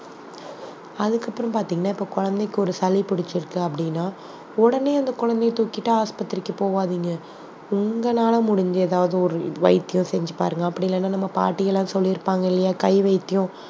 அதுக்கப்புறம் பார்த்தீங்கன்னா இப்ப குழந்தைக்கு ஒரு சளி பிடிச்சிருக்கு அப்படின்னா உடனே அந்த குழந்தையை தூக்கிட்டு ஆஸ்பத்திரிக்கு போகாதீங்க உங்களால முடிஞ்ச ஏதாவது ஒரு வைத்தியம் செஞ்சு பாருங்க அப்படி இல்லைன்னா நம்ம பாட்டி எல்லாம் சொல்லி இருப்பாங்க இல்லையா கை வைத்தியம்